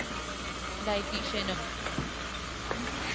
dietician no